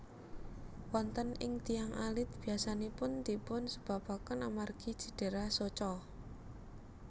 Wonten ing tiyang alit biyasanipun dipun sebabaken amargi cidera soca